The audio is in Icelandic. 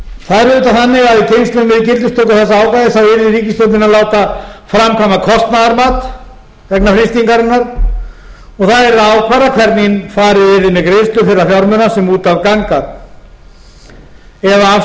hér er lögð til það er auðvitað þannig að í tengslum við gildistöku þessa ákvæðis yrði ríkisstjórnin að láta framkvæma kostnaðarmat vegna frystingarinnar og það yrði að ákvarða hvernig farið yrði með greiðslu þeirra fjármuna sem út af ganga eða afskrifa